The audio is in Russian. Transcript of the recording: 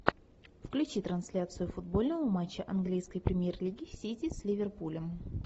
включи трансляцию футбольного матча английской премьер лиги сити с ливерпулем